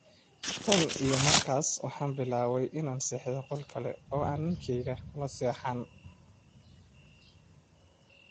"Tan iyo markaas waxaan bilaabay inaan seexdo qol kale oo aan ninkayga kula seexan."